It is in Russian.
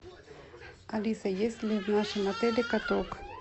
алиса есть ли в нашем отеле каток